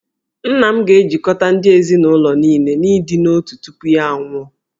Nna m ga-ejikọta ndị ezinụlọ niile n'ịdị n'otu tupu ya anwụọ